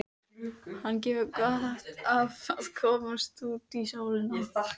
Hann hefur gott af að komast út í sólina.